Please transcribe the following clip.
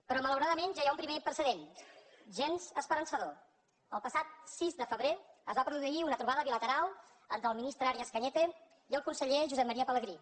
però malauradament ja hi ha un primer precedent gens esperançador el passat sis de febrer es va produir una trobada bilateral entre el ministre arias cañete i el conseller josep maria pelegrí